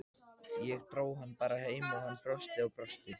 Ég dró hann bara heim og hann brosti og brosti.